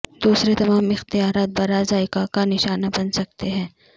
دوسرے تمام اختیارات برا ذائقہ کا نشانہ بن سکتے ہیں